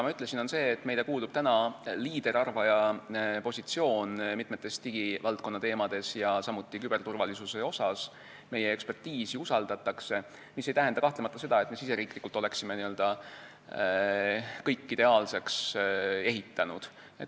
Ma ütlesin, et meile kuulub liiderarvaja positsioon mitmel digivaldkonna teemal ja samuti küberturvalisuse asjus, meie eksperditeadmisi usaldatakse, mis ei tähenda seda, nagu me oma riigis oleksime kõik ideaalseks ehitanud.